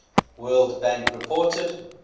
world bank reported